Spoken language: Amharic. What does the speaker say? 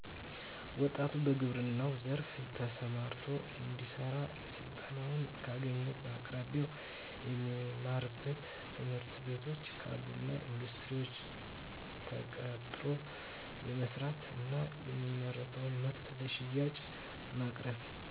ወጣቱ በግብረናው ዘርፋ ተሰማርቶ እንዲሰራ ስልጠናውን ካገኘ በአቅራቢያው የሚማርበት ትምህርትቤቶች ካሉና በኢንዱስትሪዎች ተቀጥሮ የመስራት እና የሚያመርተውን ምርት ለሽያጭ በማቅረብ